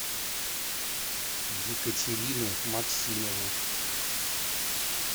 екатерину максимову